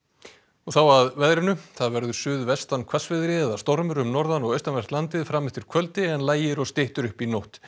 og þá að veðri það verður suðvestan hvassviðri eða stormur um norðan og austanvert landið fram eftir kvöldi en lægir og styttir upp í nótt